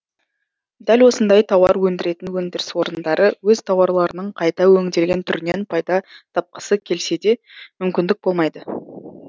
дәл осындай тауар өндіретін өндіріс орындары өз тауарларының қайта өңделген түрінен пайда тапқысы келсе де мүмкіндік болмайды